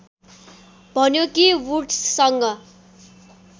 भन्यो कि वुड्ससँग